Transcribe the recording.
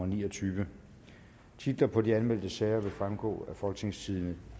ni og tyve titler på de anmeldte sager vil fremgå af folketingstidende